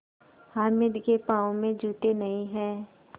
हामिद के पाँव में जूते नहीं हैं